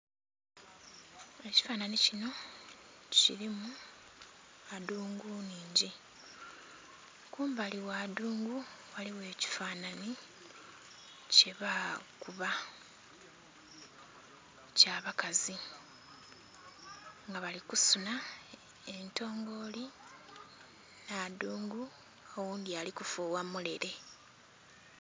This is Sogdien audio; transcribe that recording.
Ekifananhi kinho kilimu adhungu nnhingi, kumbali gha adhungu ghaligho ekifananhi kyeba kuba nga kya bakazi nga bali kusunha entongoli nha adhungu oghundhi ali ku fugha mulele.